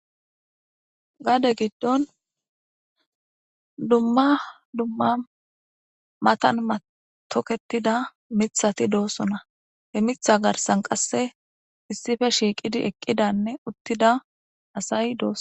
Gade gido dumma dumma matan toketida mithati dosona he mitha garsan qase issipe shiqidi eqida utida asay des